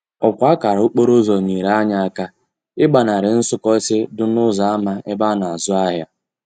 Òkwa akara okporoúzò nyere anyi aka igbanari nsúkósi di n'úzò ama ebe a na azú ahia.